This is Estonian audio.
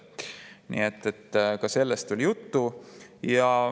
Nii et ka sellest oli juttu.